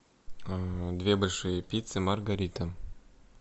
две большие пиццы маргарита